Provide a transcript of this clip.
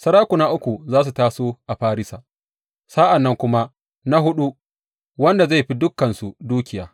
Sarakuna uku za su taso a Farisa, sa’an nan kuma na huɗu, wanda zai fi dukansu dukiya.